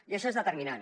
i això és determinant